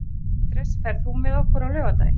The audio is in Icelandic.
Andrés, ferð þú með okkur á laugardaginn?